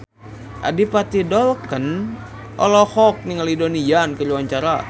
Adipati Dolken olohok ningali Donnie Yan keur diwawancara